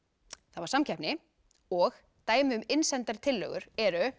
það var samkeppni og dæmi um innsendar tillögur eru